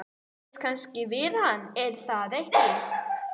Þið kannist við hann, er það ekki?